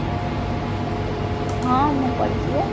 ହଁ ମୁଁ କରିଛି ବା